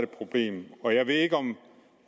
problem og jeg ved ikke om